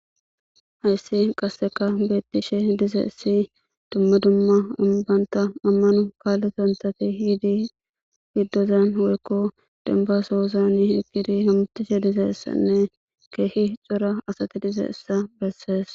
"Hayysi qasekka beetishe dizaysi dumma dumma banta amano kalotata ehidi giddozan woykko demba sohozan hizgidi hamutishe dizaysanne keehi cora asati dizaysa besees."